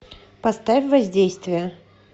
поставь воздействие